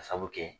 Ka sabu kɛ